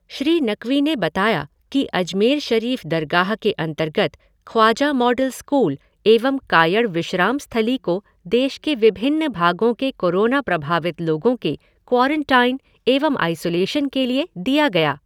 श्री नकवी ने बताया कि अजमेर शरीफ दरगाह के अंतरगर्त ख्वाजा मॉडल स्कूल एवं कायड़ विश्राम स्थली को देश के विभिन्न भागों के कोरोना प्रभावित लोगों के क्वारंटाइन एवं आईसोलेशन के लिए दिया गया।